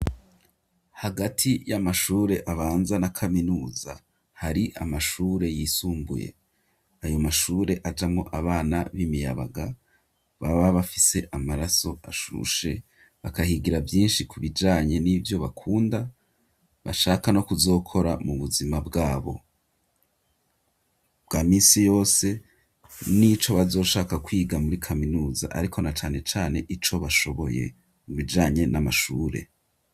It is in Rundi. Hagati y'amashure abanza na kaminuza hari amashure yisumbuye, ayo mashure ajamwo abana b'imiyabaga baba bafise amaraso ashushe bakahigira vyinshi ku bijanye nivyo bakunda bashaka no kuzokora mu buzima bwabo bwa misi yose nico bazoshaka kwiga muri kaminuza ariko na cane cane ico bashoboye mubijanye n'amashure.